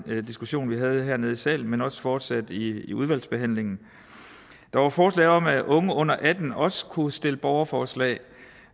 diskussion vi havde hernede i salen men også fortsatte i udvalgsbehandlingen der var forslag om at unge under atten år også kunne stille borgerforslag